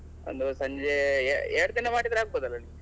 ಒಂದು ಸಂಜೆ ಎ~ ಎರಡ್ ದಿನ ಮಾಡಿದ್ರೆ ಆಗ್ಬೋದಲ್ಲ ನಿಮ್ಗೆ?